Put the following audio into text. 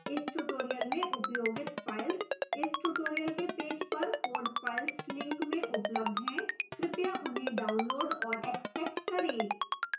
इस tutorial में उपयोगित files इस tutorial के पेज पर code files link में उपलब्ध हैं कृपया उन्हें डाउनलोड और एक्स्ट्रैक्ट करें